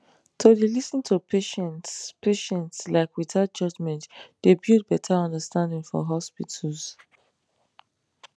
to dey lis ten to patients patients like without judgement dey build better understanding for hospitals